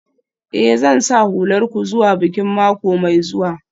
Eh, Zan sa hular ku zuwa bikin mako mai zuwa.